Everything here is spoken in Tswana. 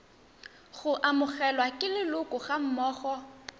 go amogelwa ke leloko gammogo